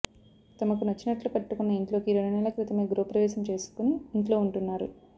తమకు నచ్చినట్లు కట్టుకున్న ఇంట్లోకి రెండు నెలల క్రితమే గృహ ప్రవేశం చేసుకొని ఇంట్లో ఉంటున్నారు